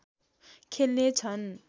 खेल्ने छन्